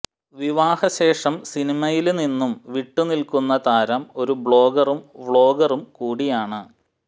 വിവാഹ ശേഷം സിനിമയില് നിന്നും വിട്ടു നില്ക്കുന്ന താരം ഒരു ബ്ലോഗറും വ്ളോഗറും കൂടിയാണ്